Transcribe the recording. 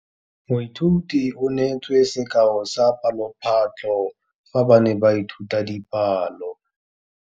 Moithuti o neetse sekaô sa palophatlo fa ba ne ba ithuta dipalo.